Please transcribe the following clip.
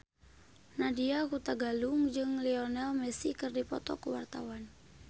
Nadya Hutagalung jeung Lionel Messi keur dipoto ku wartawan